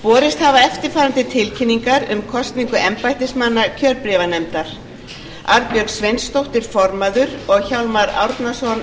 borist hafa eftirfarandi tilkynningar um kosningu embættismanna kjörbréfanefndar formaður arnbjörg sveinsdóttir varaformaður hjálmar árnason